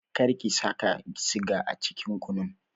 Kar ki saka siga a cikin kunun!